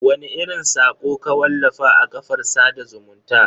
Wani irin sako ka wallafa a kafar sada zumunta?